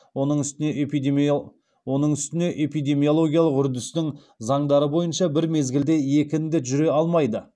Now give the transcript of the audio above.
оның үстіне эпидемиологиялық үрдістің заңдары бойынша бір мезгілде екі індет жүре алмайды